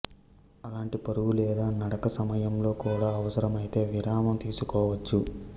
అలాంటి పరుగు లేదా నడక సమయంలో కూడా అవసరమైతే విరామం తీసుకోవచ్చు